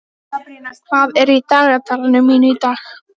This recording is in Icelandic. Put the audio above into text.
Ég skil, hvað þú átt við sagði ég.